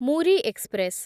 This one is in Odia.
ମୁରି ଏକ୍ସପ୍ରେସ୍